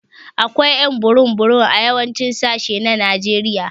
Akwai ƴ'an burum burum a yawancin sashi na Najeriya.